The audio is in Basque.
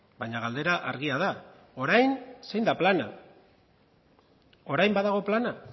baina galdera argia da orain zein da plana orain badago plana